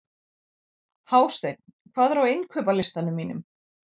Hásteinn, hvað er á innkaupalistanum mínum?